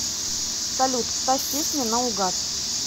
салют ставь песни на угад